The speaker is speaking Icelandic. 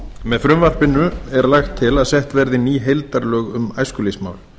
með frumvarpinu er lagt til að sett verði ný heildarlög um æskulýðsmál